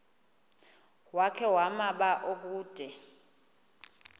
wakhe ma baoduke